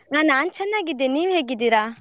ನಾ~ ನಾನ್ ಚೆನ್ನಾಗಿದ್ದೇನೆ, ನೀವ್ ಹೇಗಿದ್ದೀರಾ?